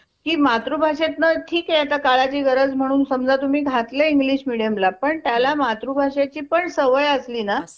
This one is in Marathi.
Ok ठीके आणि मग हि योजना मला अ आ आवडते खूप चांगलं वाटतय ह्या योजनेतल जे system billing च ते पण आता मी हा mam सांगा.